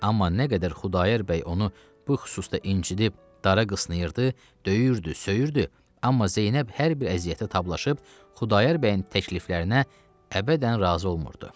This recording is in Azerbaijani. Amma nə qədər Xudayar bəy onu bu xüsusda incidib, dara qısnayırdı, döyürdü, söyürdü, amma Zeynəb hər bir əziyyətə tablaşıb Xudayar bəyin təkliflərinə əbədən razı olmurdu.